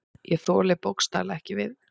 Ég þoli bókstaflega ekki við.